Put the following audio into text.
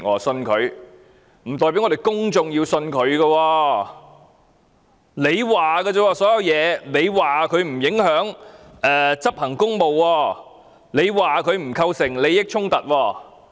張司長說，鄭若驊的所作所為沒有影響她執行公務，沒有構成利益衝突。